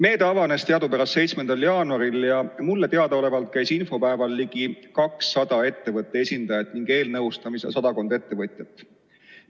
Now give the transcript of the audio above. Need avanesid teadupärast 7. jaanuaril ning mulle teadaolevalt käis infopäeval ligi 200 ettevõtete esindajat ja eelnõustamisel sadakond ettevõtjat.